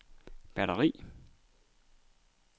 batteri